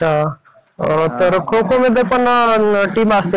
बरच मग करत असतो ना